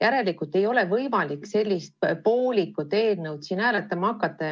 Järelikult ei ole võimalik sellist poolikut eelnõu siin hääletama hakata.